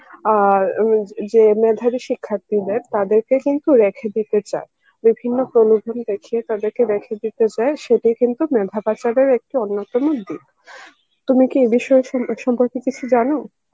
আর উম যে মেধাবী শিক্ষার্থীদের তাদেরকে কিন্তু রেখে দিতে চায়, বিভিন্ন দেখিয়ে তাদেরকে কিন্তু রেখে দিতে চায়, সিটি কিন্তু মেধা পাচারের একটি অন্যতম দিক, তুমি কি এ বিষয়ে সম~ সম্পর্কে কিছু জানো?